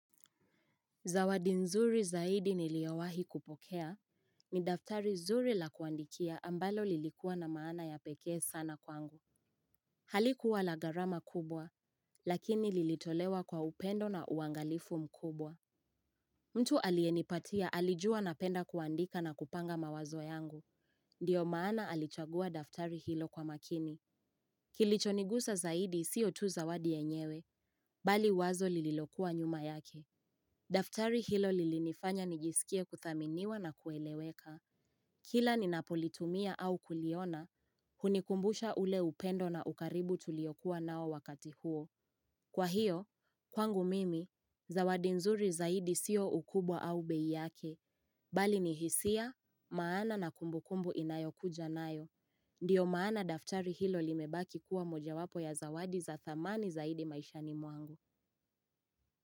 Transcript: Zawadi nzuri zaidi niliowahi kupokea. Ni daftari zuri la kuandikia ambalo lilikuwa na maana ya pekee sana kwangu. Halikuwa la gharama kubwa, lakini lilitolewa kwa upendo na uangalifu mkubwa. Mtu alienipatia alijua napenda kuandika na kupanga mawazo yangu. Ndio maana alichagua daftari hilo kwa makini. Kilicho nigusa zaidi sio tu zawadi enyewe, bali wazo lililokuwa nyuma yake. Daftari hilo lilinifanya nijisikie kuthaminiwa na kueleweka Kila ninapolitumia au kuliona, hunikumbusha ule upendo na ukaribu tuliyokuwa nao wakati huo Kwa hiyo, kwangu mimi, zawadi nzuri zaidi siyo ukubwa au bei yake Bali ni hisia, maana na kumbukumbu inayo kuja naayo Ndio maana daftari hilo limebaki kuwa mojawapo ya zawadi za thamani zaidi maisha ni mwangu.